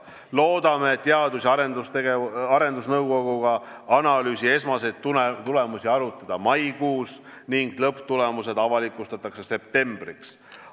Loodame Teadus- ja Arendusnõukoguga analüüsi esmaseid tulemusi arutada maikuus ning lõpptulemused avalikustatakse septembriks.